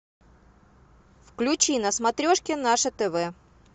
включи на смотрешке наше тв